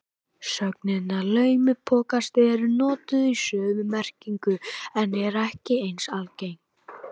Sögnin að laumupokast er notuð í sömu merkingu en er ekki eins algeng.